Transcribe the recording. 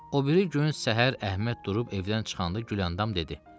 O biri gün səhər Əhməd durub evdən çıxanda Güləndam dedi.